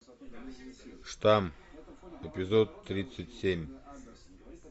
штамм эпизод тридцать семь